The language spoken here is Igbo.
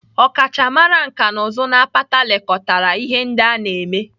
Ọkachamara nkà na ụzụ n'apata lekọtara ihe ndị a na-eme